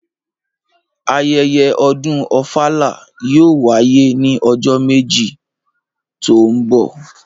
Ayẹyẹ ọ̀dún Ofala yóò wàyé ni ọjọ meji to ńbọ.